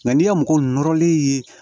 Nka n'i ye mɔgɔ nɔrɔlen ye